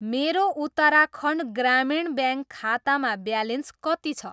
मेरो उत्तराखण्ड ग्रामीण ब्याङ्क खातामा ब्यालेन्स कति छ?